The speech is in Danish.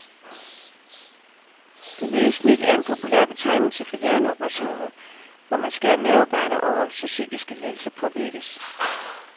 Det hvide snit er en populær betegnelse for hjerneoperationer, hvor man skærer nervebaner over, så psykiske lidelser påvirkes.